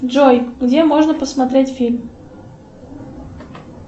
джой где можно посмотреть фильм